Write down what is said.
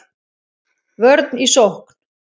Vörn í sókn